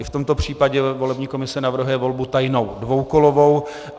I v tomto případě volební komise navrhuje volbu tajnou dvoukolovou.